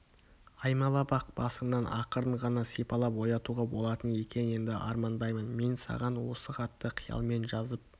аймалап-ақ басыңнан ақырын ғана сипалап оятуға болатын екен енді армандаймын мен саған осы хатты қиялмен жазып